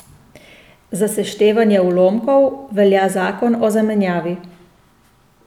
Za seštevanje ulomkov velja zakon o zamenjavi.